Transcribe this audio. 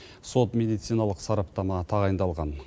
сот медициналық сараптама тағайындалған